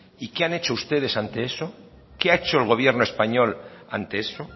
y qué han hecho ustedes ante eso qué ha hecho el gobierno español ante eso